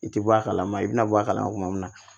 I tɛ bɔ a kalama i bɛna bɔ a kalama